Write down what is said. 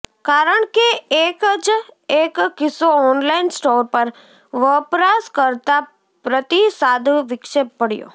કારણ કે એક જ એક કિસ્સો ઓનલાઇન સ્ટોર પર વપરાશકર્તા પ્રતિસાદ વિક્ષેપ પડ્યો